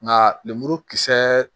Nka lemuru kisɛ